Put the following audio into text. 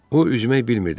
O üzmək bilmirdi.